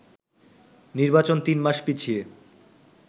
নির্বাচন তিন মাস পিছিয়ে